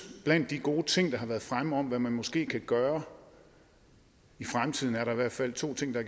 blandt de gode ting der har været fremme om hvad man måske kan gøre i fremtiden er der i hvert fald to ting der